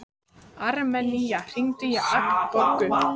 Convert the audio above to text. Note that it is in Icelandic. Armenía, hringdu í Agnborgu.